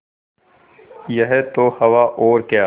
यह तो हवा और क्या